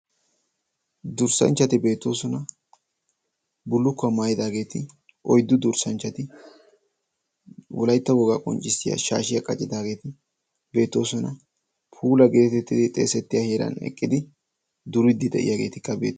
durssanchchati beetoosuna bulukkuwaa maayidaageeti oiddu durssanchchati wolaytta wogaa qonccissiya shaashiyaa qacidaageeti beettoosuna puula geetettidi xeesettiya hieran eqqidi duriddi de'iyaageeti qabidi